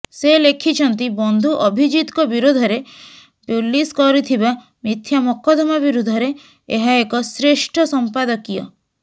ସେ ଲେଖିଛନ୍ତି ବନ୍ଧୁ ଅଭିଜିତଙ୍କ ବିରୋଧରେ ପୁଲିସ କରିଥିବା ମିଥ୍ୟା ମକଦ୍ଦମା ବିରୁଦ୍ଧରେ ଏହା ଏକ ଶ୍ରେଷ୍ଠ ସଂପାଦକୀୟ